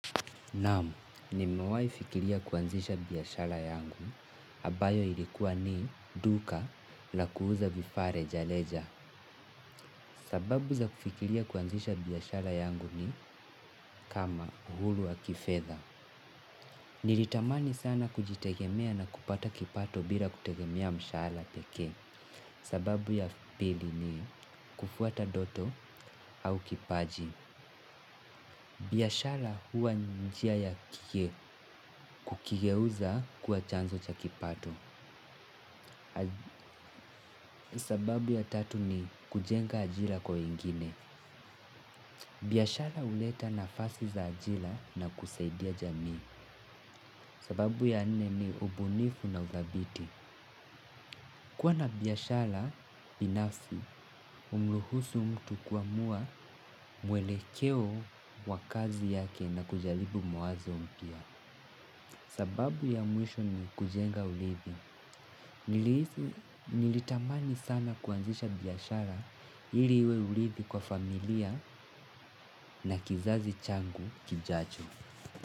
Naamu, nimewahi fikiria kuanzisha biashara yangu, ambayo ilikuwa ni duka la kuuza vifaa rejareja. Sababu za kufikiria kuanzisha biashara yangu ni kama uhuru wa kifedha. Nilitamani sana kujitegemea na kupata kipato bila kutegemea mshaharaa pekee. Sababu ya pili ni kufuata ndoto au kipaji. Biashara huwa njia ya kukigeuza kuwa chanzo cha kipato. Sababu ya tatu ni kujenga ajira kwa wengine. Biashara huleta nafasi za ajira na kusaidia jamii. Sababu ya nne ni ubunifu na uthabiti. Kuwa na biashara binafi humruhusu mtu kuamua mwelekeo wa kazi yake na kujaribu mawazo mpya. Sababu ya mwisho ni kujenga uridhi. Nilitamani sana kuanzisha biashara ili uwe urithi kwa familia na kizazi changu kijacho.